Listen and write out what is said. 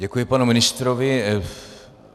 Děkuji, panu ministrovi.